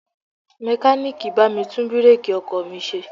Mekaniiki bá mi tún bireeki ọkọ̀ mi ṣe.